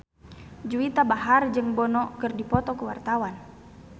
Juwita Bahar jeung Bono keur dipoto ku wartawan